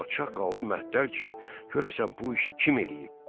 Padşah qaldı məttəl ki, görəsən bu işi kim eləyib.